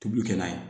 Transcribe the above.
Tobili kɛ n'a ye